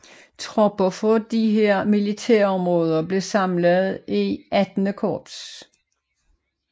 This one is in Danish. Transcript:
Tropper fra disse militærområder blev samlet i XVIII Korps